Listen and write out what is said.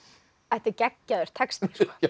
þetta er geggjaður texti